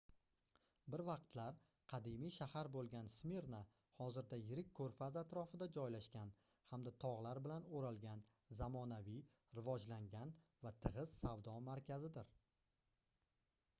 bir vaqtlar qadimiy shahar boʻlgan smirna hozirda yirik koʻrfaz atrofida joylashgan hamda togʻlar bilan oʻralgan zamonaviy rivojlangan va tigʻiz savdo markazidir